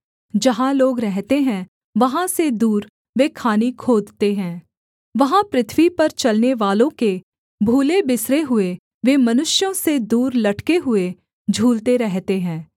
जहाँ लोग रहते हैं वहाँ से दूर वे खानि खोदते हैं वहाँ पृथ्वी पर चलनेवालों के भूलेबिसरे हुए वे मनुष्यों से दूर लटके हुए झूलते रहते हैं